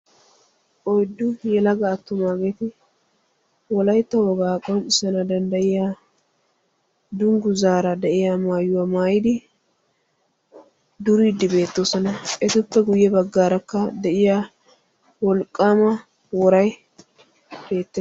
Oyddu yelaga attumaageeti Wolaytta wogaara qonccissana danddayiyaa dungguza de'iyaa maayuwaa maayyidi durudde beettoosona; etuppe guyye baggarakka de'iyaa wolqqama woray beettees.